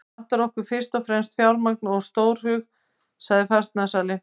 Hér vantar okkur fyrst og fremst fjármagn og stórhug, sagði fasteignasalinn.